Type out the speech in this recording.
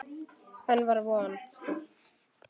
Enn var von!